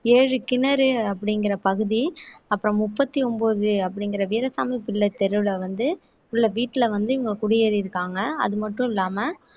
ஏழு கிணறு அப்படிங்கிற பகுதி அப்புறம் முப்பத்தி ஒன்பது அப்படிங்கிற வீராசாமி பிள்ளை தெருவுல வந்து உள்ள வீட்டுல வந்து இவங்க குடியேறிருக்காங்க அது மட்டும் இல்லாம